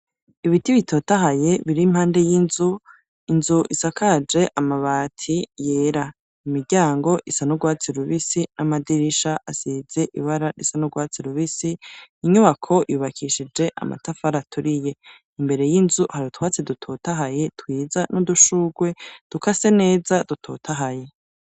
Ibiti bitotahaye, biri impande y'inzu. Inzu isakaje amabati yera ,imiryango isanugwatsi rubisi ,n'amadirisha asize ibara isanugwatsi rubisi, inyubako yubakishije amatafara turiye imbere y'inzu hari utwatsi dutotahaye twiza n'udushugwe dukase neza dutotahaye.